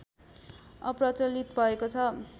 अप्रचलित भएको छ